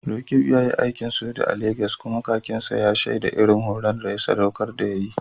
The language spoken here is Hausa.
Roqeeb ya yi aikin soja a Legas, kuma kakin sa ya shaida irin horo da sadaukarwa da ya yi.